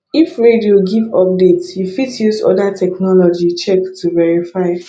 if radio give update you fit use oda technology check to verify